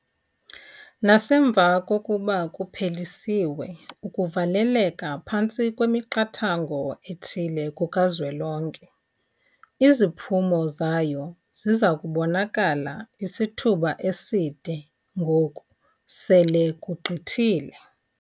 Nasemva kokuba kuphelisiwe ukuvaleleka phantsi kwemiqathango ethile kukazwelonke, iziphumo zayo ziza kubonakala isithuba eside ngoku sele kugqithile.